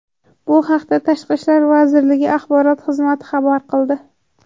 Bu haqda Tashqi ishlar vazirligi axborot xizmati xabar qildi .